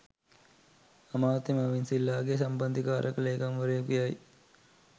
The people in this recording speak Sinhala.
අමාත්‍ය මර්වින් සිල්වාගේ සම්බන්ධීකාරක ලේකම්වරයකු යයි